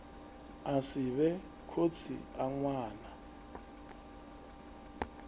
a sivhe khotsi a ṅwana